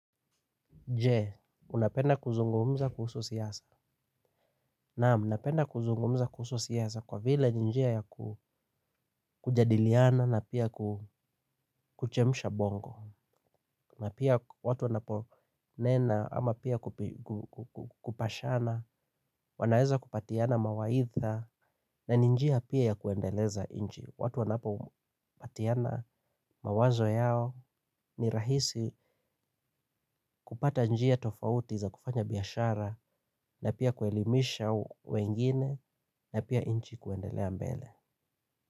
Je, unapenda kuzungumza kuhusu siasa? Naam, napenda kuzungumza kuhusu siasa kwa vile ni njia ya kujadiliana na pia kuchemsha bongo. Na pia watu wanapo nena ama pia kupashana wanaweza kupatiana mawaidha na ni njia pia ya kuendeleza nchi. Watu wanapo patiana mawazo yao ni rahisi kupata njia tofauti za kufanya biashara na pia kuelimisha wengine na pia nchi kuendelea mbele.